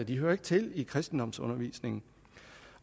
de hører ikke til i kristendomsundervisningen